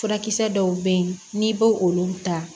Furakisɛ dɔw bɛ yen n'i b'o olu ta